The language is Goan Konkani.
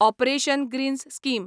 operation greens scheme